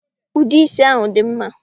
Ude isi ahụ dị mma